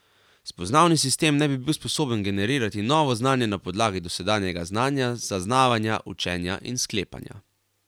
Spoznavni sistem naj bi bil sposoben generirati novo znanje na podlagi dosedanjega znanja, zaznavanja, učenja in sklepanja.